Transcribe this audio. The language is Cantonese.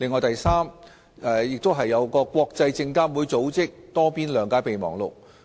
第三，當中亦包括國際證券事務監察委員會組織的《多邊諒解備忘錄》。